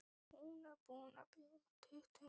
Hún er búin að bjóða tuttugu manns.